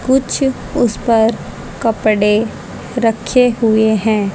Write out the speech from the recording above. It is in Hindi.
कुछ उस पर कपड़े रखे हुए हैं।